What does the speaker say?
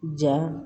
Ja